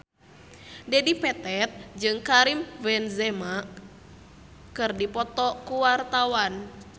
Dedi Petet jeung Karim Benzema keur dipoto ku wartawan